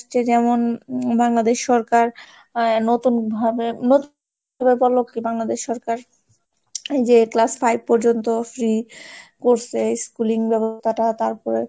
যেমন উম বাংলাদেশ সরকার আহ নতুন ভাবে নতুন বাংলাদেশ সরকার এই যে class five পর্যন্ত free করছে schooling ব্যবস্থাটা তারপরে,